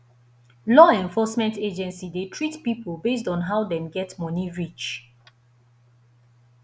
law enforcement agency de treat pipo based on how dem get money reach